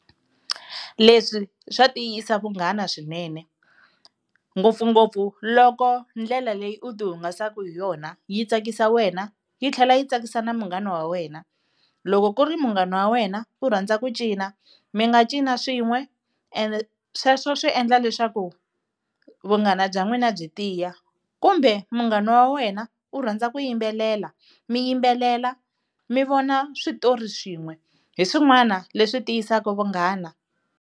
Leswi swa tiyisa vunghana swinene ngopfungopfu loko ndlela leyi u tihungasaka hi yona yi tsakisa wena yi tlhela yi tsakisa na munghana wa wena. Loko ku ri munghana wa wena u rhandza ku cina mi nga cina swin'we and sweswo swi endla leswaku vunghana bya n'wina byi tiya, kumbe munghana wa wena u rhandza ku yimbelela mi yimbelela mi vona switori swin'we hi swin'wana leswi tiyisaka vunghana.